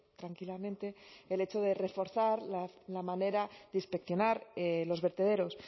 tranquilamente el hecho de reforzar la manera de inspeccionar los vertederos